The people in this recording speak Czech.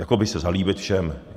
Jakoby se zalíbit všem.